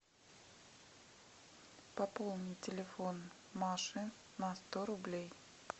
пополни телефон маши на сто рублей